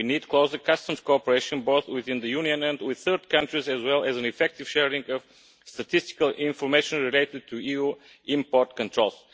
We need closer customs cooperation, both within the Union and with third countries, as well as an effective sharing of statistical information related to EU import controls.